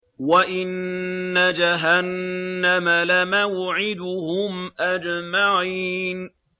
وَإِنَّ جَهَنَّمَ لَمَوْعِدُهُمْ أَجْمَعِينَ